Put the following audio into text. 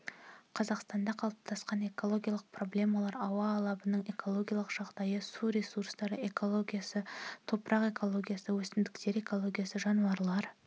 қазақстанда қалыптасқан экологиялық проблемалар ауа алабының экологиялық жағдайы су ресурстары экологиясы топырақ экологиясы өсімдіктер экологиясы жануарлар